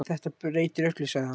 Þetta breytir öllu, sagði hann.